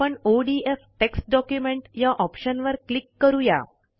आपण ODF text document या ऑप्शनवर क्लिक करू या